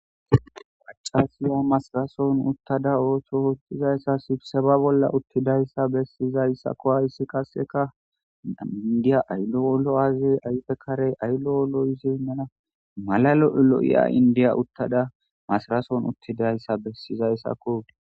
pacasiya masirason uttada ooththo ottizayssa sibseba bolla uttidayssa bessizayssakko hayssi kaseka indiya aydo wolo7aze ayfe karey ayllo wolo7izey mena malalo7e lo7iya indiya uttada masirason uttidayssa bessizayssakko